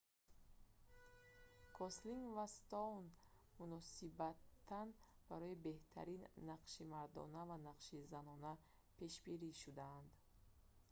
гослинг ва стоун мутаносибан барои беҳтарин нақши мардона ва нақши занона пешбарӣ шуданд